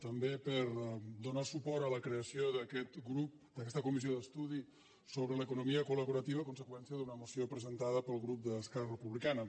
també per donar suport a la creació d’aquest grup d’aquesta comissió d’estudi sobre l’economia col·laborativa a conseqüència d’una moció presentada pel grup d’esquerra republicana